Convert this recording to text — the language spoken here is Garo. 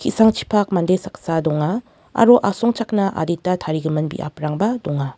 ki·sangchipak mande saksa donga aro asongchakna adita tarigimin biaprangba donga.